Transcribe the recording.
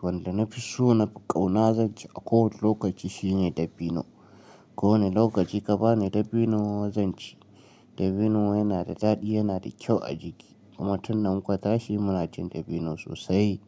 wanda na fi so nafi ƙauna zan ci a kowane lokaci shine dabino. Ko wane lokaci ka bani dabino zan ci. Dabino yana da daɗi, yana da kyau a jiki kuma tunda muka tashi muna cin dabino sosai.